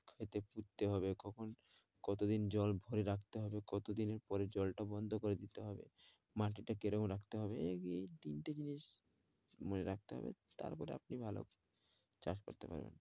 এটা পুততে হবে, কখন কতদিন জল ভরে রাখতে হবে, কতদিনের পরে জলটা বন্ধ করে দিতে হবে, মাটিটা কিরকম রাখতে হবে? এই এ তিনটা জিনিস মনে রাখতে হবে। তারপরে আপনি ভালো চাষ করতে পারবেন।